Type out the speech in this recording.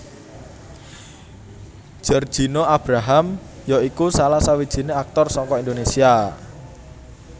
Giorgino Abraham ya iku salah sawijiné aktor saka Indonesia